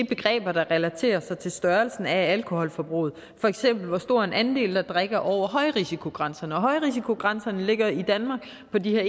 begreb der relaterer sig til størrelsen af alkoholforbruget for eksempel hvor stor en andel der drikker over højrisikogrænserne højrisikogrænserne ligger i danmark på de her